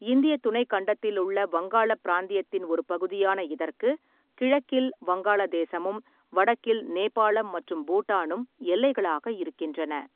இந்திய துணைக் கண்டத்திலுள்ள வங்காளப் பிராந்தியத்தின் ஒரு பகுதியான இதற்கு, கிழக்கில் வங்காளதேசமும் வடக்கில் நேபாளம் மற்றும் பூட்டானும் எல்லைகளாக இருக்கின்றன.